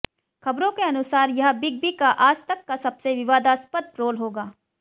खबरों के अनुसार यह बिग बी का आज तक का सबसे विवादास्पद रोल होगा